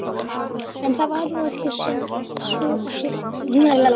En það var nú samt ekki svo slæmt.